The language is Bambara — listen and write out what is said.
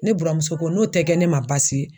Ne buramuso ko n'o tɛ kɛ ne ma baasi ye.